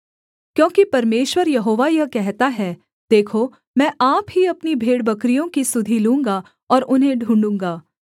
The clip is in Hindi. क्योंकि परमेश्वर यहोवा यह कहता है देखो मैं आप ही अपनी भेड़बकरियों की सुधि लूँगा और उन्हें ढूँढ़ूगा